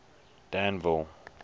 danville